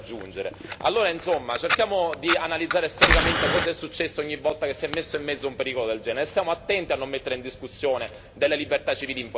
Allora, cerchiamo di analizzare storicamente cosa è successo ogni volta che si è messo in mezzo un pericolo del genere stiamo attenti a non mettere in discussione delle libertà civili importanti.